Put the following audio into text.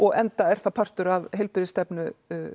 enda er það partur af heilbrigðisstefnu